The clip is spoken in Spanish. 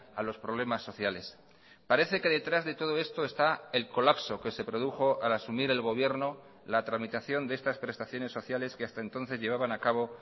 a los problemas sociales parece que detrás de todo esto está el colapso que se produjo al asumir el gobierno la tramitación de estas prestaciones sociales que hasta entonces llevaban a cabo